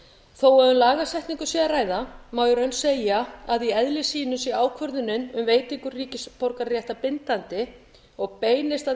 þó að um lagasetningu sé að ræða má í raun segja að í eðli sínu sé ákvörðun um veitingu ríkisborgararéttar bindandi og beinist að